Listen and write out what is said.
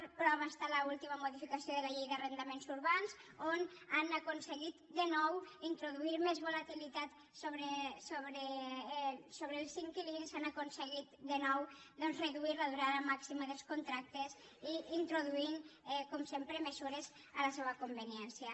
la prova està en l’última modificació de la llei d’arrendaments urbans on han aconseguit de nou introduir més volatilitat sobre els inquilins han aconseguit de nou doncs reduir la durada màxima dels contractes i introduirhi com sempre mesures a la seua conveniència